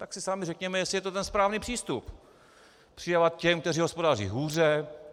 Tak si sami řekněme, jestli je to ten správný přístup, přidávat těm, kteří hospodaří hůře.